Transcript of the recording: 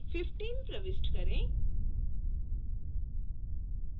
loan period में 15 प्रविष्ट करें